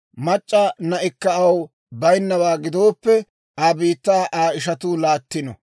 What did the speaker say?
mac'c'a na'ikka aw baynnawaa gidooppe, Aa biittaa Aa ishatuu laattino;